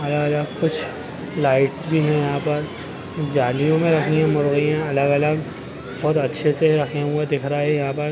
यहाँ कुछ लाईट्स भी है यहाँ पर जालियों में रखी है मुर्गियाँ अलग-अलग बहुत अच्छे से रखे हुए दिख रहे है यहाँ पर--